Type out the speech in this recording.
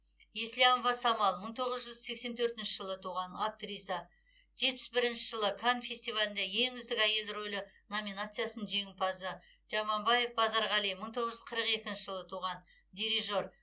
еслямова самал мың тоғыз жүз сексен төртінші жылы туған актриса жетпіс бірінші канн кинофестивалінде ең үздік әйел рөлі номинациясының жеңімпазы жаманбаев базарғали мың тоғыз жүз қырық екінші жылы туған дирижер